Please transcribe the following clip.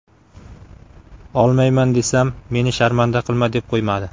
Olmayman desam, meni sharmanda qilma deb qo‘ymadi.